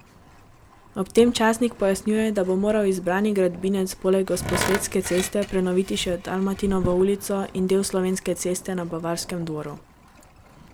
Ob tem časnik pojasnjuje, da bo moral izbrani gradbinec poleg Gosposvetske ceste prenoviti še Dalmatinovo ulico in del Slovenske ceste na Bavarskem dvoru.